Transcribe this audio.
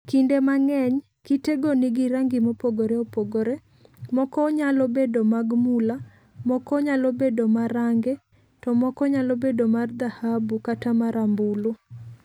Kinde mang'eny kitego nigi rangi mopogore opogore, moko nyalo bedo mag mula, moko nyalo bedo marange, to moko nyalo bedo mar dhahabu kata marambulu.